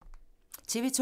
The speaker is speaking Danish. TV 2